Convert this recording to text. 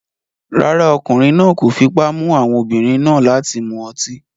Rárá, ọkùnrin náà kò fipá mú àwọn obìnrin náà láti mu ọtí